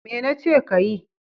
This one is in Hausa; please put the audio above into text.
Me nace kayi?